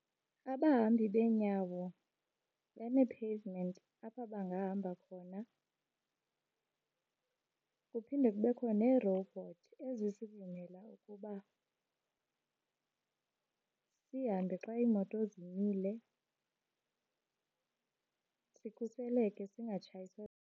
Abahambi beenyawo banee-pavement apha bangahamba khona. Kuphinde kubekho neerowubhothi ezisivumela ukuba sihambe xa iimoto zimile, sikhuseleke singatshayiswa.